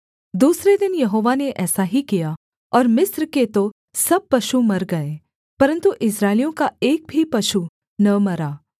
दूसरे दिन यहोवा ने ऐसा ही किया और मिस्र के तो सब पशु मर गए परन्तु इस्राएलियों का एक भी पशु न मरा